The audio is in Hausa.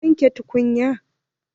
Waye wanke tukunya?